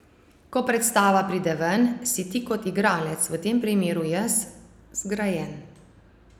Ko predstava pride ven, si ti kot igralec, v tem primeru jaz, zgrajen.